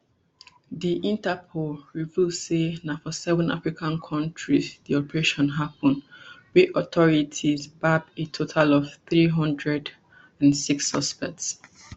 di interpol reveal say na for seven african kontris di operation happun wia authorities gbab a total of three hundred and six suspects